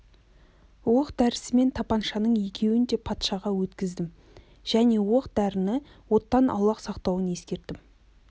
оқ-дәрісімен тапаншаның екеуін де патшаға өткіздім және оқ-дәріні оттан аулақ сақтауын ескерттім